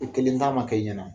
I kelen ta man kɛ i ɲɛna.